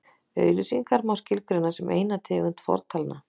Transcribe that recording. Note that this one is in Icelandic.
auglýsingar má skilgreina sem eina tegund fortalna